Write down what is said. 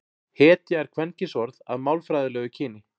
hetja er kvenkynsorð að málfræðilegu kyni